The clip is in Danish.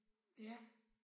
Ja